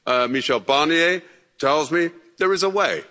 Michel Barnier tells me, there is a way.